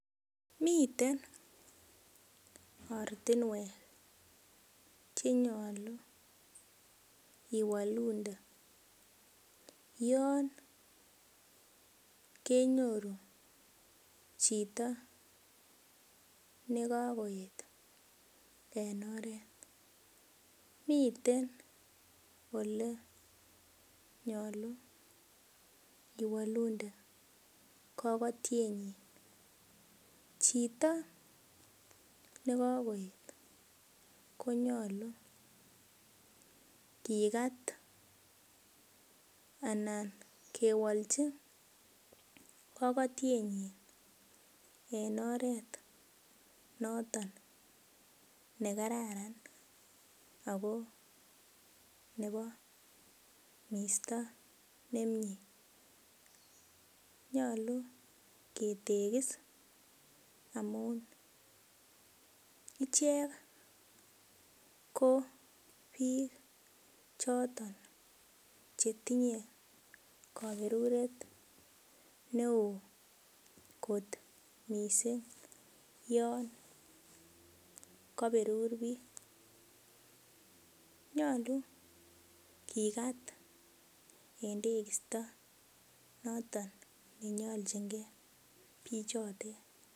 Miten ortinwek chenyolu iwolunde yon kenyoru chito nekokoet en oret, miten elenyolu iwolunde kokotienyin, chito nekokoet konyolu kikat anan kewolji kokotienyin en oret noton nekararan ako nebo misto nemie nyolu ketekis amun ichek ko bik choton chetinye koberuret neo kot missing' yon koberur bik nyolu kikat en tekisto noton nenyoljingee bichotet.